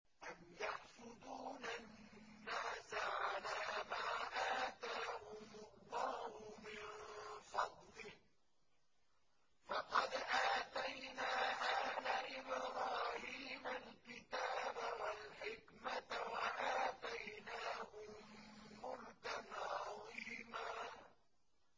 أَمْ يَحْسُدُونَ النَّاسَ عَلَىٰ مَا آتَاهُمُ اللَّهُ مِن فَضْلِهِ ۖ فَقَدْ آتَيْنَا آلَ إِبْرَاهِيمَ الْكِتَابَ وَالْحِكْمَةَ وَآتَيْنَاهُم مُّلْكًا عَظِيمًا